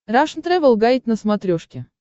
рашн тревел гайд на смотрешке